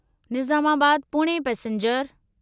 Nizamabad Pune passenger